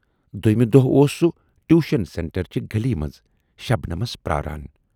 دویمہِ دۅہہٕ اوس سُہ ٹیوشن سینٹرچہِ گلی منز شبنمسؔ پراران۔